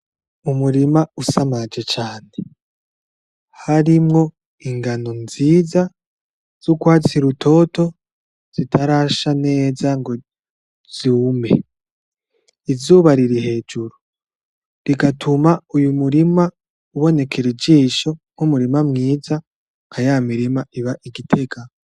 Umurima usamaje cane harimwo ingano nziza z'urwatsi rutoto zitarasha neza ngo zume, izuba riri hejuru rigatuma uyu murima ubonekera ijisho nk'umurima mwiza nkaya mirima iba i Gitega.